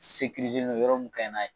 Sekirizelen do yɔrɔ mun ka ɲi n'a ye